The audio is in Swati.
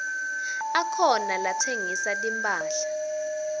akhona latsengisa timphahla